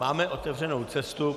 Máme otevřenou cestu.